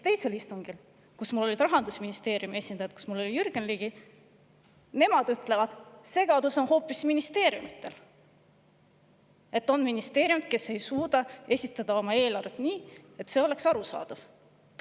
Teisel istungil, kus olid Rahandusministeeriumi esindajad ja kus oli ka Jürgen Ligi, öeldi, et segadus on hoopis ministeeriumidel, sest mõni ministeerium ei suuda esitada oma eelarvet nii, et see oleks arusaadav.